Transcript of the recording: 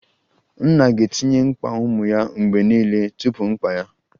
Nne ga-etinye mkpa ụmụ ya mgbe niile tupu mkpa ya